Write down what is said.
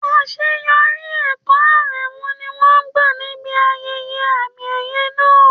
Àṣeyọrí ẹ̀kọ́ Aremu ni wọ́n gbà níbi ayẹyẹ àmì-ẹ̀yẹ náà.